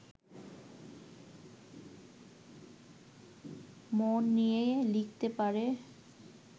মন নিয়ে লিখতে পারে